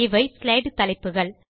இவை ஸ்லைடு தலைப்புகள்